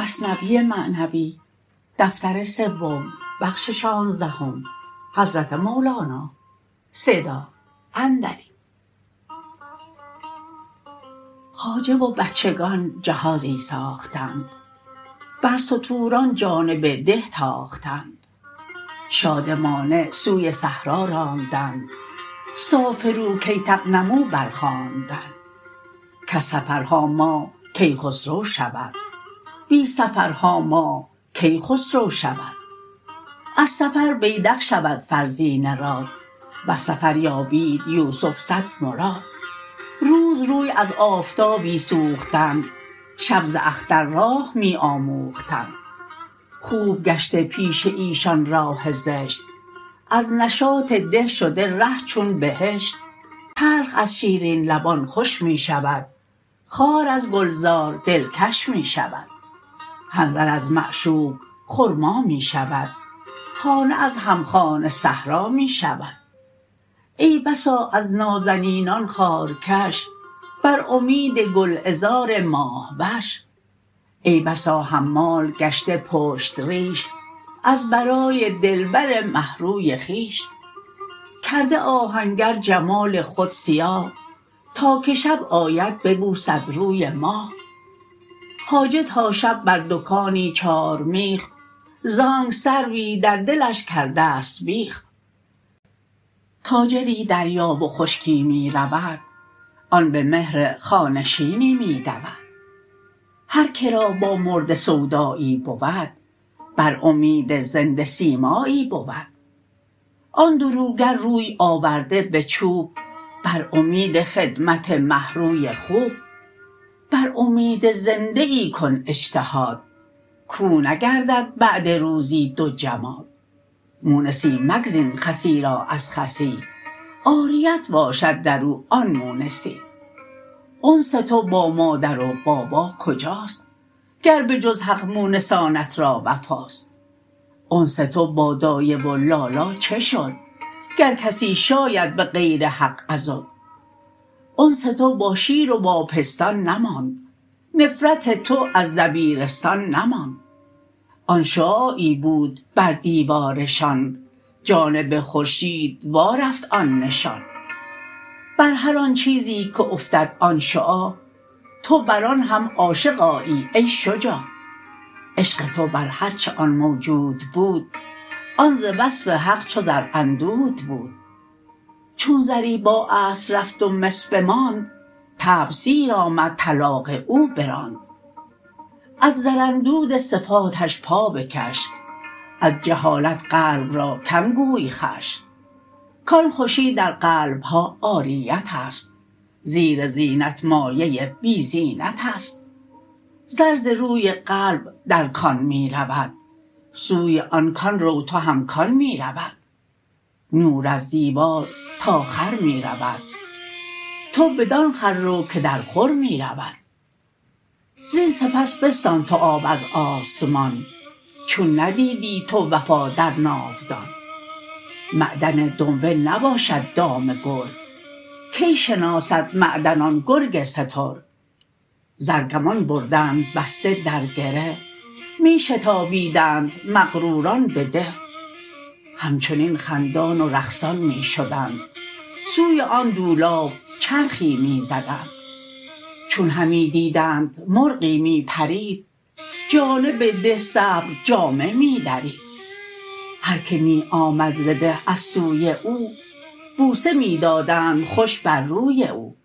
خواجه و بچگان جهازی ساختند بر ستوران جانب ده تاختند شادمانه سوی صحرا راندند سافروا کی تغنموا بر خواندند کز سفرها ماه کیخسرو شود بی سفرها ماه کی خسرو شود از سفر بیدق شود فرزین راد وز سفر یابید یوسف صد مراد روز روی از آفتابی سوختند شب ز اختر راه می آموختند خوب گشته پیش ایشان راه زشت از نشاط ده شده ره چون بهشت تلخ از شیرین لبان خوش می شود خار از گلزار دلکش می شود حنظل از معشوق خرما می شود خانه از همخانه صحرا می شود ای بسا از نازنینان خارکش بر امید گل عذار ماه وش ای بسا حمال گشته پشت ریش از برای دلبر مه روی خویش کرده آهنگر جمال خود سیاه تا که شب آید ببوسد روی ماه خواجه تا شب بر دکانی چار میخ زانک سروی در دلش کرده ست بیخ تاجری دریا و خشکی می رود آن به مهر خانه شینی می دود هر که را با مرده سودایی بود بر امید زنده سیمایی بود آن دروگر روی آورده به چوب بر امید خدمت مه روی خوب بر امید زنده ای کن اجتهاد کاو نگردد بعد روزی دو جماد مونسی مگزین خسی را از خسی عاریت باشد درو آن مونسی انس تو با مادر و بابا کجاست گر به جز حق مونسانت را وفاست انس تو با دایه و لالا چه شد گر کسی شاید بغیر حق عضد انس تو با شیر و با پستان نماند نفرت تو از دبیرستان نماند آن شعاعی بود بر دیوارشان جانب خورشید وا رفت آن نشان بر هر آن چیزی که افتد آن شعاع تو بر آن هم عاشق آیی ای شجاع عشق تو بر هر چه آن موجود بود آن ز وصف حق زر اندود بود چون زری با اصل رفت و مس بماند طبع سیر آمد طلاق او براند از زر اندود صفاتش پا بکش از جهالت قلب را کم گوی خوش کان خوشی در قلبها عاریت است زیر زینت مایه بی زینت است زر ز روی قلب در کان می رود سوی آن کان رو تو هم کآن می رود نور از دیوار تا خور می رود تو بدان خور رو که در خور می رود زین سپس بستان تو آب از آسمان چون ندیدی تو وفا در ناودان معدن دنبه نباشد دام گرگ کی شناسد معدن آن گرگ سترگ زر گمان بردند بسته در گره می شتابیدند مغروران به ده همچنین خندان و رقصان می شدند سوی آن دولاب چرخی می زدند چون همی دیدند مرغی می پرید جانب ده صبر جامه می درید هر که می آمد ز ده از سوی او بوسه می دادند خوش بر روی او